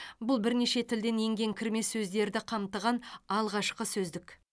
бұл бірнеше тілден енген кірме сөздерді қамтыған алғашқы сөздік